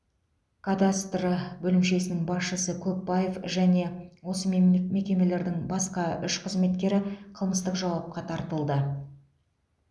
кадастры бөлімшесінің басшысы көпбаев және осы мем мекемелердің басқа үш қызметкері қылмыстық жауапқа тартылды